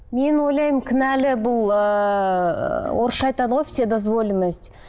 мен ойлаймын кінәлі бұл ыыы орысша айтады ғой вседозволенность